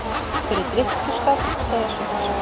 Fyrir drykkju- skap, segja sumir.